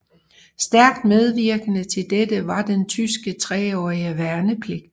Stærkt medvirkende til dette var den tyske treårige værnepligt